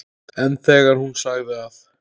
En þegar hún sagði að